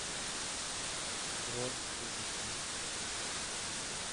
бронь эйбиси